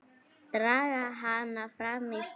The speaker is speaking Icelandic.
Draga hana fram í stofu.